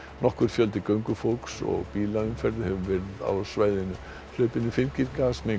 nokkur fjöldi göngufólks og bílaumferð hefur verið á svæðinu hlaupinu fylgir